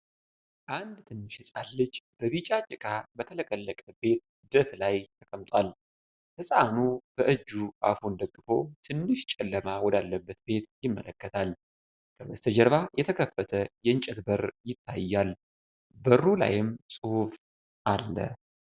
አንድ ትንሽ ህጻን ልጅ በቢጫ ጭቃ በተለቀለቀ ቤት ደፍ ላይ ተቀምጧል። ህጻኑ በእጁ አፉን ደግፎ ትንሽ ጨለማ ወዳለበት ቤት ይመለከታል። ከበስተጀርባ የተከፈተ የእንጨት በር ይታያል፣ በሩ ላይም ጽሑፍ አለ።